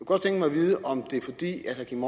vide om det er fordi herre kim